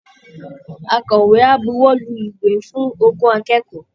Akọ̀wé á buwọ́lu ìwé fún ogún akẹ́kọ̀ọ́